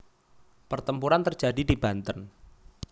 Pertempuran terjadi di Banten